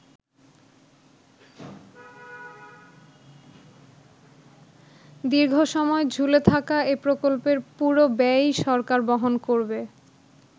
দীর্ঘসময় ঝুলে থাকা এ প্রকল্পের পুরো ব্যয়ই সরকার বহন করবে।